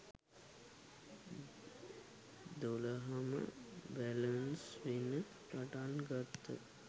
දොළහම balance වෙන්න පටන් ගත්ත.